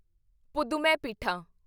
ਪੁਧੂਮੈਪੀਠਾਂ